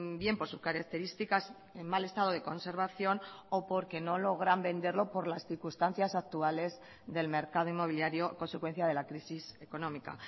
bien por sus características en mal estado de conservación o porque no logran venderlo por las circunstancias actuales del mercado inmobiliario consecuencia de la crisis económica